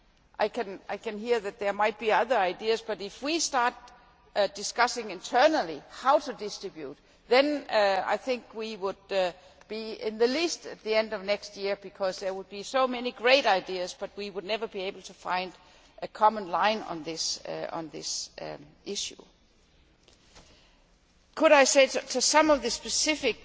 I can hear that there may be other ideas but if we start discussing internally how to distribute, then I think it would take at least to the end of next year because there would be so many great ideas we would never be able to find a common line on this issue. I will reply to some of the specific